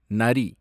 நரி